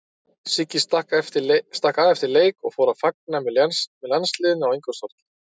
Siggi stakk af eftir leik og fór að fagna með landsliðinu á Ingólfstorgi.